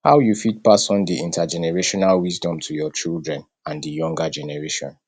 how you fit pass on di intergenerational wisdom to your children and di younger generation